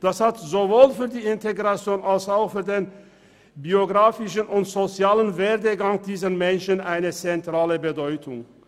Das hat sowohl für die Integration als auch für den biografischen und sozialen Werdegang dieser Menschen eine zentrale Bedeutung.